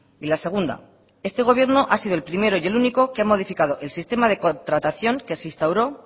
y la segunda este gobierno ha sido el primero y el único que ha modificado el sistema de contratación que se instauró